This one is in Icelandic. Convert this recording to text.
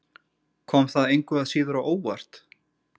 Kom það engu að síður á óvart?